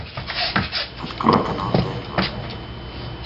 открой канал тнв